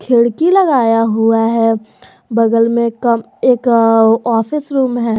खिड़की लगाया हुआ है बगल में एक ऑफिस रूम है।